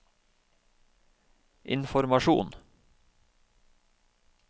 informasjon